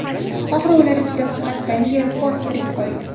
Oxiri ular ichida faqat Daniel Foss tirik qolgan.